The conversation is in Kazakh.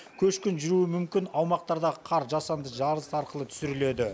көшкін жүруі мүмкін аумақтардағы қар жасанды жарылыс арқылы түсіріледі